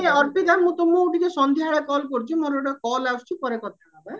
ଅର୍ପିତା ମୁଁ ତମକୁ ଟିକେ ସନ୍ଧ୍ୟାବେଳେ call କରୁଚି ମୋର ଗୋଟେ call ଆସୁଚି ପରେ କଥା ହବା